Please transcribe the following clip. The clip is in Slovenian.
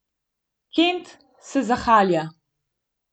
Kent se zahahlja.